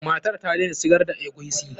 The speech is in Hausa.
Matar ta daina sigar da eguisi.